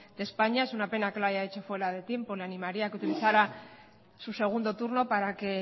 de españa es una pena que lo haya hecho fuera de tiempo le animaría que utilizara su segundo turno para que